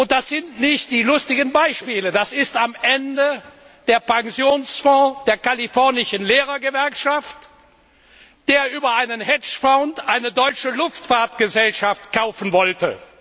Das sind nicht die lustigen Beispiele, das ist am Ende der Pensionsfonds der kalifornischen Lehrergewerkschaft, der über einen Hedgefonds eine deutsche Luftfahrtgesellschaft kaufen wollte.